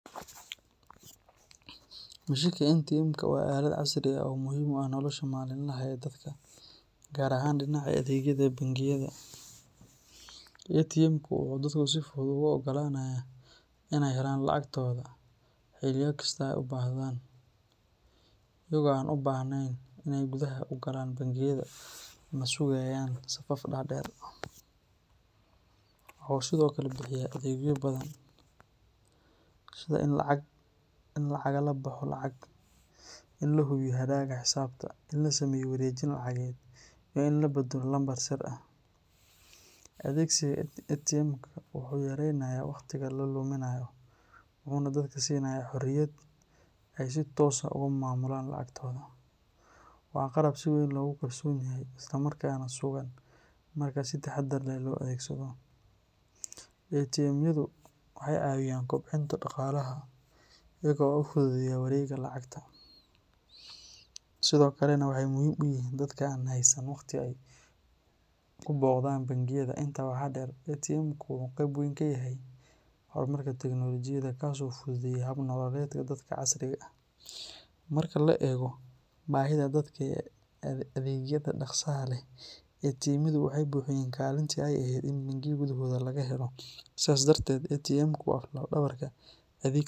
Mushinka ATM ka waa aalad casri ah oo muhiim ah nolosha maalinlaha ah ee dadka Gaar ahaan dhinaca adeegyada bangiyadaATM ku oo dadku si fudud u oggolaanaya inay helaan lacagtooda xiliya kastaa u baahdaan Kuwa aan u baahneyn inay gudaha u galaan bangiyada la sugayaan safaf dhaadheer wuxu sidoo kale bixiya adeegyo badan Sida in lacag lagala baxo lacag in la hubiyo habraac xisaabta lana sameeyay wareejin lacageed weyn la beddelo lambar sir ah adeegsiga ATM ka wuxuu yareynayaa waqtiga la luminayo Waxuna dadka la siinayaa xoriyad ay si toos ah uga maamulaan lacagtaasi Waa qalab si weyn loogu qarsoon yahay islamarkaana sugan marna seddex dar loo adeegsado ATM yadu waxaay cawiyaan kobcinta Dhaqaalaha iko u fududeyoowareega lacagta sidoo kalena waxa muhiim uu yihin dadka aan heysan waqti Ku boqdaan bangiyada intaa waxa dheer ATM ku wuxu qeyb weyn ka yahay hormarka teknolojiyada Hormarka tiknolojiyada kaas oo fududeeyay hab nololeedka dadka casri ah marka la eego baahida dadkii adeegyada dhaqsaha leh ATM ku way buuxiyeen kaalintii ay ahayd Mindi weligooda laga helo sidaas, dartet ATM ku wa laf dawarka .